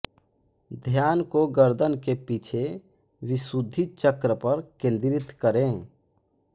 ध्यान को गर्दन के पीछे विशुद्धि चक्र पर केन्द्रित करें